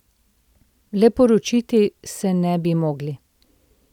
Le poročiti se ne bi mogli.